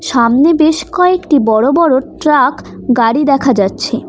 সামনে বেশ কয়েকটি বড়ো-বড়ো ট্রাক গাড়ি দেখা যাচ্ছে।